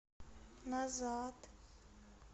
назад